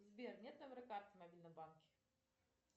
сбер нет номера карты в мобильном банке